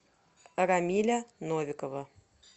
рамиля новикова